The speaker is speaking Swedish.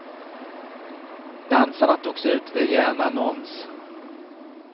Dansarna togs ut via en annons.